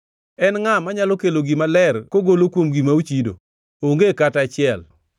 En ngʼa manyalo kelo gima ler kogolo kuom gima ochido? Onge kata achiel!